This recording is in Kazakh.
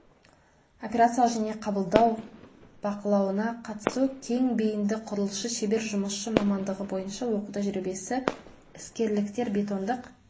операциялық және қабылдау бақылауына қатысу кең бейінді құрылысшы шебер жұмысшы мамандығы бойынша оқу тәжірибесі іскерліктер бетондық